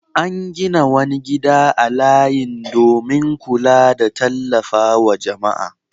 An gina wani gida a layin domin kula da tallafa wa jama'a.